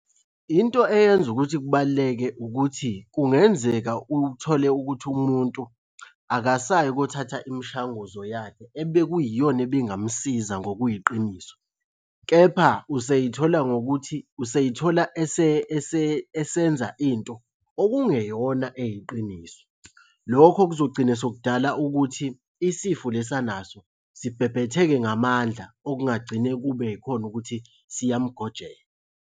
Into eyenza ukuthi kubaluleke ukuthi, kungenzeka uthole ukuthi umuntu akasayi ukuyothatha imishanguzo yakhe ebe kuyiyona ebingamusiza ngokuyiqiniso, kepha usey'thola ngokuthi, usey'thola esenza into okungeyona eyiqiniso. Lokho kuzogcina sekudala ukuthi isifo lesi anaso sibhebhetheke ngamandla, okungagcina kube yikhona ukuthi siyamugojela.